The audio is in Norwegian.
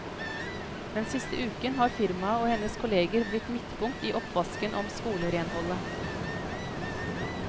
Den siste uken har firmaet og hennes kolleger blitt midtpunkt i oppvasken om skolerenholdet.